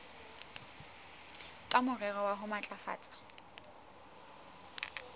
ka morero wa ho matlafatsa